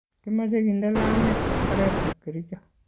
Kimache kinde lamit oret ab kericho .